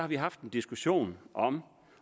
vi haft en diskussion om